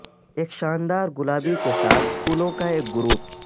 ایک شاندار گلابی کے ساتھ پھولوں کا ایک گروپ